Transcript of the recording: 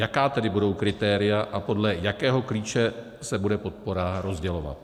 Jaká tedy budou kritéria a podle jakého klíče se bude podpora rozdělovat?